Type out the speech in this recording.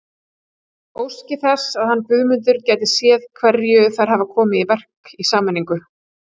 Óski þess að hann Guðmundur gæti séð hverju þær hafi komið í verk í sameiningu.